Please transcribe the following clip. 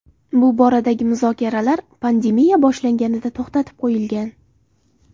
Bu boradagi muzokaralar pandemiya boshlanganida to‘xtatib qo‘yilgan.